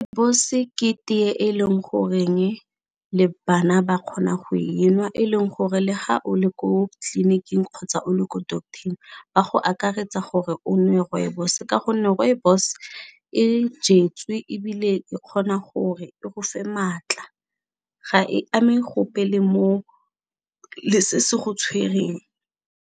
ke tee e leng goreng le bana ba kgona go e nwa e leng gore le ga o le ko tleliniking kgotsa o le ko doctor-eng ba go akaretsa gore o nwe rooibos ka gonne rooibos e jetswe ebile e kgona gore e go fa maatla ga e ame gope le mo, le se se go tshwereng.